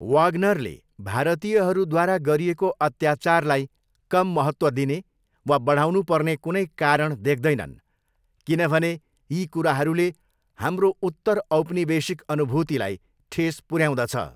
वाग्नरले भारतीयहरूद्वारा गरिएको अत्याचारलाई कम महत्त्व दिने वा बढाउनुपर्ने कुनै कारण देख्दैनन् किनभने यी कुराहरूले 'हाम्रो उत्तरऔपनिवेशिक अनुभूतिलाई ठेस पुऱ्याउँदछ'।